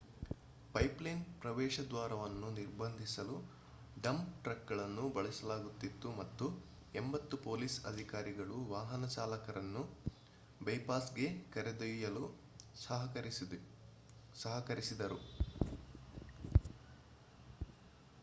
pipeline ಪ್ರವೇಶದ್ವಾರವನ್ನು ನಿರ್ಬಂಧಿಸಲು dump ಟ್ರಕ್ಗಳನ್ನು ಬಳಸಲಾಗುತ್ತಿತ್ತು ಮತ್ತು 80 ಪೊಲೀಸ್ ಅಧಿಕಾರಿಗಳು ವಾಹನ ಚಾಲಕರನ್ನು ಬೈಪಾಸ್ಗೆ ಕರೆದೊಯ್ಯಲು ಸಹಕರಿಸಿದರು